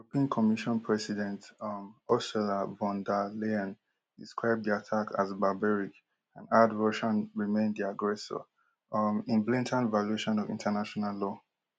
Pin commission president um ursula von der leyen describe di attack as barbaric add russia remain di aggressor um in blatant violation of international law